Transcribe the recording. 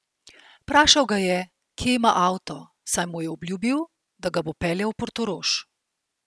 Vprašal ga je, kje ima avto, saj mu je obljubil, da ga bo peljal v Portorož.